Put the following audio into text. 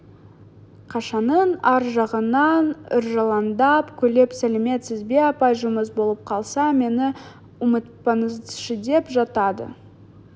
қашаның ар жағынан ыржалаңдап күліп сәлеметсіз бе апай жұмыс болып қалса мені ұмытпаңызшыдеп жатады